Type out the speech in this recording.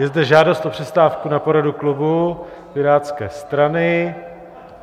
Je zde žádost o přestávku na poradu klubu Pirátské strany.